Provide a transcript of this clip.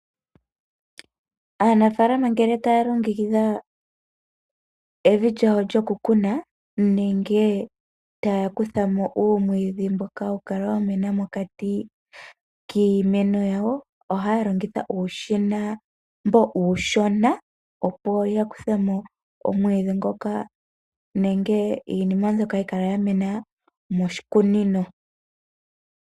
Aanafaalama ngele ta ya longekidha evi lyawo lyoku kuna nenge ta ya kutha mo uumwiidhi mboka ha wu kala wa mena mokati kiimeno ya wo, oha ya longitha uushina mboka uushona opo ya kuthe mo omwiidhi ngoka nenge iinima mbyoka ya mena moshikunino.